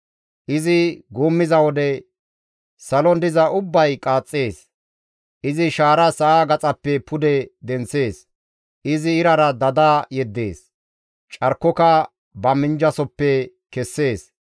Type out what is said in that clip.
Izi guummiza wode, salon diza ubbay qaaxxees. Izi shaara sa7a gaxappe pude denththees. Izi irara dada yeddees; carkoka ba minjjasoppe kessees.